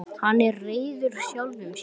Hann er reiður sjálfum sér.